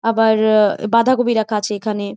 আবার- বাঁধাকপি রাখা আছে এইখানএ--